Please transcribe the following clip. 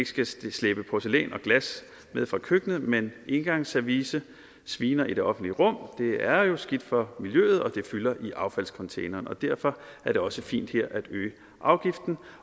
skal slæbe porcelæn og glas med fra køkkenet men engangsservice sviner i det offentlige rum det er jo skidt for miljøet og det fylder i affaldscontainere derfor er det også fint at øge afgiften